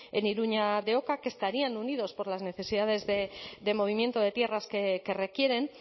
en iruña de oca que estarían unidos por las necesidades de movimiento de tierras que requieren